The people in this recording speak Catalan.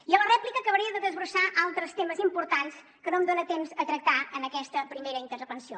i a la rèplica acabaré de desbrossar altres temes importants que no em dona temps a tractar en aquesta primera intervenció